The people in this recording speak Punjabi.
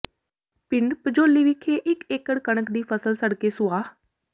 ਪਿੰਡ ਭਜੌਲੀ ਵਿਖੇ ਇਕ ਏਕੜ ਕਣਕ ਦੀ ਫਸਲ ਸੜ ਕੇ ਸੁਆਹ